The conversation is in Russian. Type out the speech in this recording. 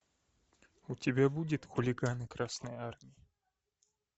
у тебя будет хулиганы красной армии